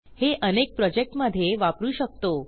हे अनेक प्रोजेक्टमधे वापरू शकतो